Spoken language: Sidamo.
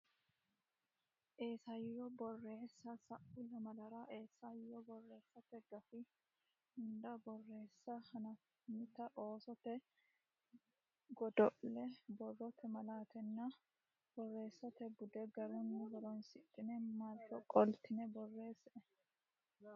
Isayyo Borreessa Sa u lamalara isayyo borreessate gafi hunda borreessa hanaffinita oosote godo le borrote malaattanna borreessate bude garunni horonsidhine marro qoltine borreessae.